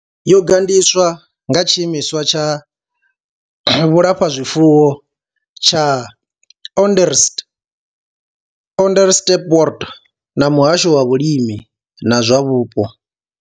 Yo gandiswa nga Tshiimiswa tsha vhulafhazwifuwo tsha Onderstepoort na muhasho wa vhulimi na zwa vhupo.